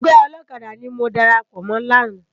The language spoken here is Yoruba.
Ègbè òlòkàdá ni mó dàrápò mò làná